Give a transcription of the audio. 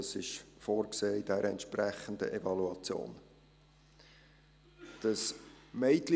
Das ist in der entsprechenden Evaluation vorgesehen.